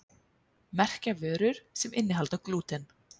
Merkja vörur sem innihalda glúten